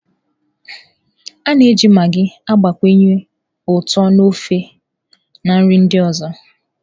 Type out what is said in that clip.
A na-eji magịị gbakwunye ụtọ na ofe, na nri ndị ọzọ.